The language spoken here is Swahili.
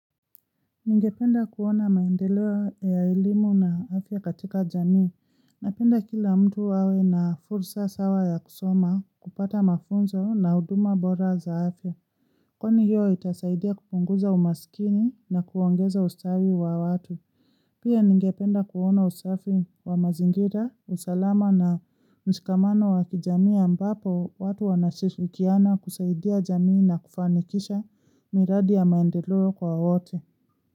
Ningependa kuona maendeleo ya elimu na afya katika jamii, napenda kila mtu awe na fursa sawa ya kusoma kupata mafunzo na huduma bora za afya, kwani hiyo itasaidia kupunguza umasikini na kuongeza ustawi wa watu. Pia ningependa kuona usafi wa mazingira, usalama na mshikamano wa kijamii ambapo watu wanashirikiana kusaidia jamii na kufanikisha miradi ya maendeleo kwa wote.